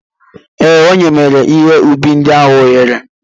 Ee, ọ nyemara ihe ubi ndị ahụ ohere.